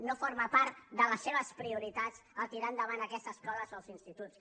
no forma part de les seves prioritats tirar endavant aquestes escoles o els instituts